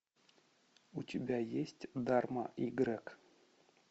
у тебя есть дарма и грег